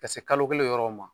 Ka se kalo kelen yɔrɔw ma